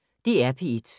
DR P1